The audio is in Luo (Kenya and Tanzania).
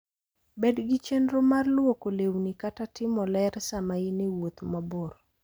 Bed gi chenro mar lwoko lewni kata timo ler sama in e wuoth mabor.